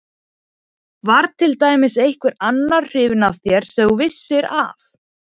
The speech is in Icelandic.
Var til dæmis einhver annar hrifinn af þér sem þú vissir af?